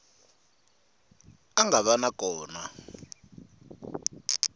a nga va na kona